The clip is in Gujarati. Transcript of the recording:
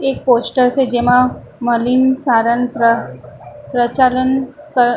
એક પોસ્ટર સે જેમાં મલીન સારંત્ર પ્રચાલન ક --